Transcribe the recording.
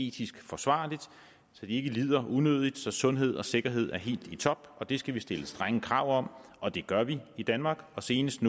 etisk forsvarligt så de ikke lider unødigt og så sundhed og sikkerhed er helt i top det skal vi stille strenge krav om og det gør vi i danmark senest